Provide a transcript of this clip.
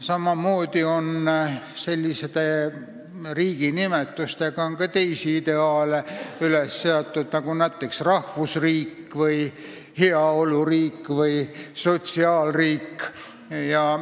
Samamoodi on üles seatud ka teisi riigi nimetusega ideaale, nagu näiteks rahvusriik, heaoluriik või sotsiaalriik.